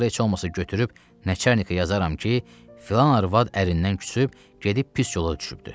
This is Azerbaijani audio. Axırı heç olmasa götürüb nəçanikə yazaram ki, filan arvad ərindən küsüb gedib pis yola düşübdür.